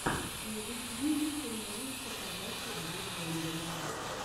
на ютьюбе ты можешь показать илью бондарева